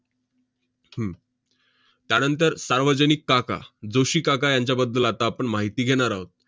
हम्म त्यानंतर सार्वजनिक काका, जोशी काका यांच्याबद्दल आता आपण माहिती घेणार आहोत.